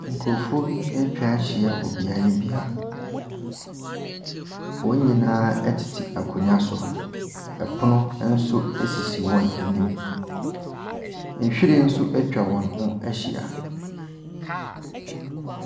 Nkurɔfoɔ bi atwa ahyia wɔ beaeɛ bi a wɔn nyinaa tete akonnwa so. Pono nso sisi wɔn anim. Nhwiren nso atwa wɔn ho ahyia.